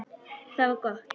Það var gott